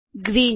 green